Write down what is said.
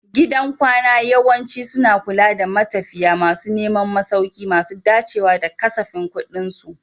Gidan kwana yawanci suna kula da matafiya masu neman masauki masu dacewa da kasafin kuɗinsu.